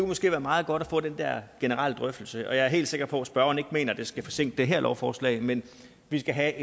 måske være meget godt at få den der generelle drøftelse og jeg er helt sikker på at spørgeren ikke mener at det skal forsinke det her lovforslag men at vi skal have